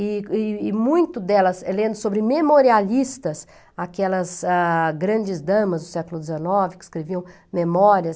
E e e muito delas é lendo sobre memorialistas, aquelas ah grandes damas do século dezenove que escreviam memórias.